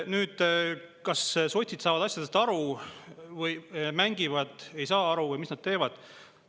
Nüüd, kas sotsid saavad asjadest aru või mängivad, ei saa aru või mis nad teevad?